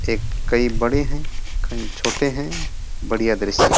एक कहीं बड़े हैं कहीं छोटे हैं बढ़िया दृश्य है।